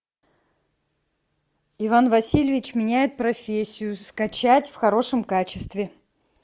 иван васильевич меняет профессию скачать в хорошем качестве